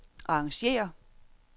arrangér